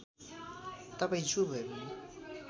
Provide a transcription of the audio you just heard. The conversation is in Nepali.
तपाईँ जो भएपनि